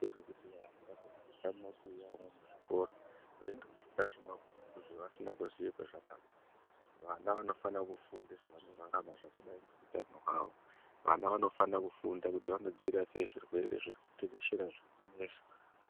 Ngezvekuti vantu vandofunda mumabuya mwona muzvikora veindofunda zvemumabhuku zvavasina kuziya kwazvakabva .Vana vanofana kufunda zvavanorarama zvakadayi ngeutano hwawo .Vana vanofana kufunda kuti vanodzivirira sei zvirwere zvirikuteshera zvirikunetsa.